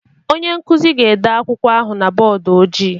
Onye nkuzi ga-ede akwụkwọ ahụ na bọọdụ ojii